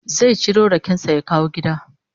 Zai ciro raken sa ya kawo gida